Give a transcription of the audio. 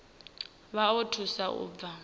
vha o thusa u bva